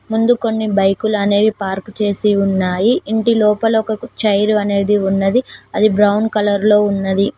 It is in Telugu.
ముందు కొన్ని బైకులు అనేవి పార్క్ చేసి ఉన్నాయి ఇంటి లోపల ఒక కు చైరు అనేది ఉన్నది అది బ్రౌన్ కలర్ లో ఉన్నది.